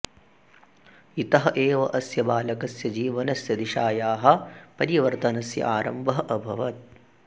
इतः एव अस्य बालकस्य जीवनस्य दिशायाः परिवर्तनस्य आरम्भः अभवत्